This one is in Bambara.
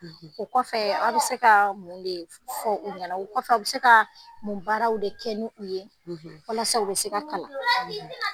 O kɔfɛ a bɛ se ka mun de fɔ u ɲɛ na o kɔfɛ a bɛ se ka mun baaraw de kɛ ni u ye walasa o bɛ se ka kalan?